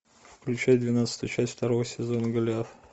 включай двенадцатую часть второго сезона голиаф